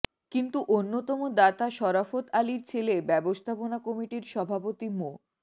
কিন্তু অন্যতম দাতা সরাফত আলীর ছেলে ব্যবস্থাপনা কমিটির সভাপতি মো